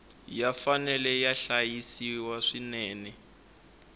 ya fanele ya hlayisiwa swinene